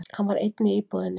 Hann var einn í íbúðinni.